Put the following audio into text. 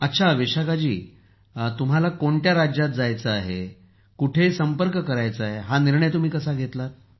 अच्छा विशाखा जी तुम्ही कोणत्या राज्यात जायचे आहे कोठे संपर्क करायचा आहे हा निर्णय कसा घेतलात